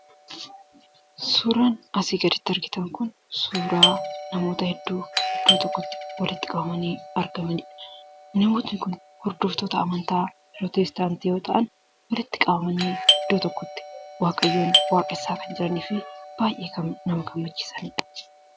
Suuraan asii gaditti argitan Kun, suuraa namoota hedduu iddoo tokkotti walitti qabamanii argamanidha. Namoonni Kun hordoftoota amantaa pirootestaantii yoo ta'an walitti qabamanii iddoo tokkotti waaqayyoon waaqessaa kan jiranii fi baayyee nama gammachiisaniidha.